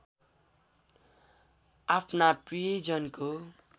आफ्ना प्रियजनको